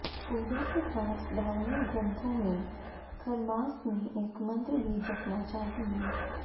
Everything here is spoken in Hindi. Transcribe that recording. पूजा के साथ धार्मिक ग्रंथों में खरमास में एक मंत्र भी जपना चाहिए